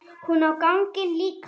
Hún á ganginn líka.